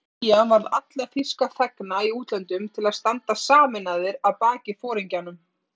Knýja varð alla þýska þegna í útlöndum til að standa sameinaðir að baki foringjanum